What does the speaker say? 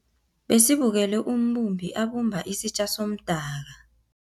Besibukele umbumbi abumba isitja somdaka.